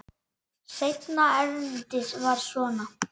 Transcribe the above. Seinna erindið var svona: